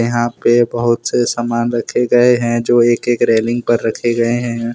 यहां पे बहोत से सामान रखे गए हैंजो एक एक रेलिंग पे रखे गए हैं।